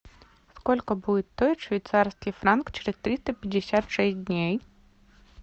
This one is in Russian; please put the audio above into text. сколько будет стоить швейцарский франк через триста пятьдесят шесть дней